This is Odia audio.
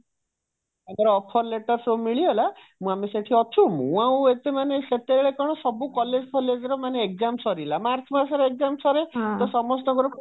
ତାଙ୍କର offer letter ସବୁ ମିଳିଗଲା ମୁଁ ଆମେ ସେଇଠି ଅଛୁ ମୁଁ ଆଉ ଏତେ ମାନେ ସେତେବେଳେ କଣ ସବୁ college ଫଲେଜ ରେ ସବୁ exam ସରିଲା ମାର୍ଚ୍ଚ ମାସରେ exam ସରେ ତ ସମସ୍ତଙ୍କର